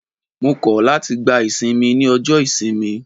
Mo kọ̀ láti gba ìsinmi ní ọjọ́ ìsinmi.